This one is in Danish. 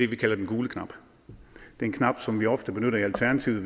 vi kalder den gule knap det er en knap som vi ofte benytter i alternativet